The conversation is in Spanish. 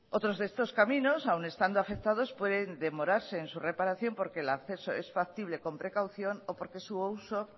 otros de estos caminos aun estando afectados pueden demorarse en su reparación porque el acceso es factible con precaución o porque su uso